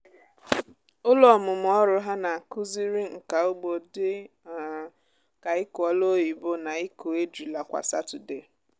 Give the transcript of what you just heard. ụlọ ọmụmụ ọrụ ha na-akụziri nka ugbo dị um ka ịkụ olu oyibo na ịkụ ejula kwa satọdee.